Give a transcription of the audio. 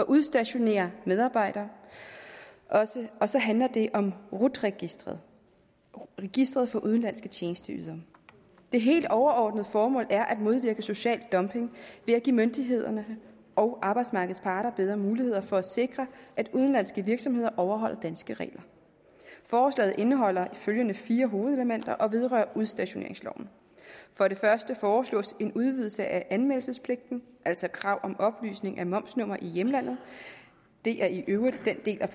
udstationerer medarbejdere og så handler det om rut registeret registeret for udenlandske tjenesteydere det helt overordnede formål er at modvirke social dumping ved at give myndighederne og arbejdsmarkedets parter bedre muligheder for at sikre at udenlandske virksomheder overholder danske regler forslaget indeholder følgende fire hovedelementer og vedrører udstationeringsloven for det første foreslås en udvidelse af anmeldelsespligten altså krav om oplysning om momsnummer i hjemlandet det er i øvrigt den del af